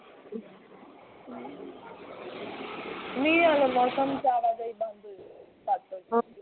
ਨੀ ਆ ਮੌਸਮ ਸਾਰਾ ਜ਼ਹਿਰੀ